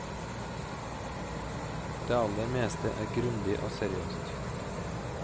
Det aller meste er grundig og seriøst.